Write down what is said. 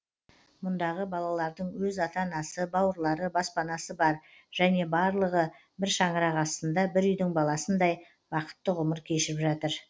мұндағы балалардың өз ата анасы бауырлары баспанасы бар және барлығы бір шаңырақ астында бір үйдің баласындай бақытты ғұмыр кешіп жатыр